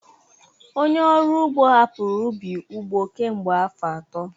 Onye ọrụ ugbo hapụrụ ubi ugbo kemgbe afọ atọ